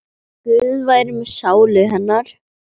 Guð veri með sálu hennar.